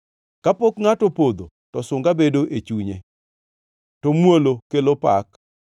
Kapok ngʼato opodho, to sunga bedo e chunye, to muolo kelo pak.